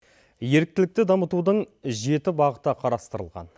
еріктілікті дамытудың жеті бағыты қарастырылған